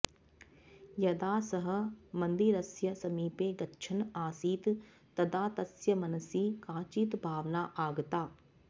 यदा सः मन्दिरस्य समीपे गच्छन् आसीत् तदा तस्य मनसि काचित् भावना आगता